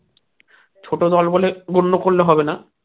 ছোট দল বলে মূল্য করলে হবে না